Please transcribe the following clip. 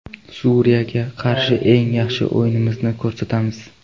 Suriyaga qarshi eng yaxshi o‘yinimizni ko‘rsatamiz.